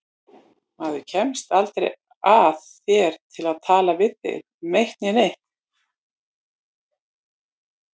Maður kemst aldrei að þér til að tala við þig um eitt né neitt.